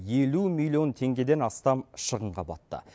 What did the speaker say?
елу миллион теңгеден астам шығынға батты